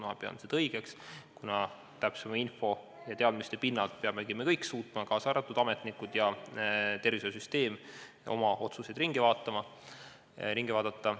Ma pean seda õigeks, kuna täpsema info ja teadmiste pinnalt peamegi me kõik, kaasa arvatud ametnikud ja tervishoiusüsteem, suutma oma otsuseid uuesti üle vaadata.